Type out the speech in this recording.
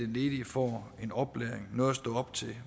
ledige får en oplæring noget at stå op til